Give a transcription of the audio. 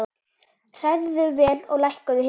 Hrærðu vel og lækkaðu hitann.